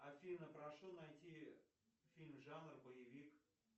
афина прошу найти фильм жанр боевик